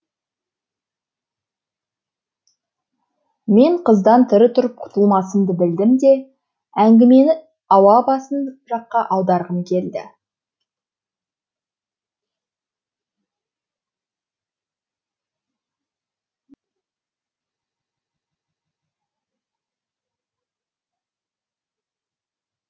мен қыздан тірі тұрып құтылмасымды білдім де әңгімені ауа басын жаққа аударғым келді